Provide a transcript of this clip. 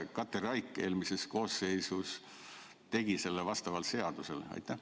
Kas Katri Raik eelmises koosseisus tegi seda vastavalt seadusele?